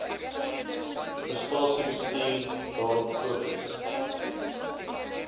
prestasiebestuur daarop fokus